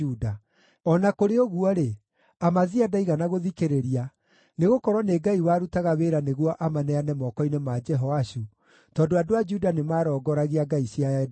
O na kũrĩ ũguo-rĩ, Amazia ndaigana gũthikĩrĩria, nĩgũkorwo nĩ Ngai warutaga wĩra nĩguo amaneane moko-inĩ ma Jehoashu, tondũ andũ a Juda nĩmarongoragia ngai cia Edomu.